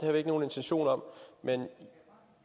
har vi ikke nogen intention om men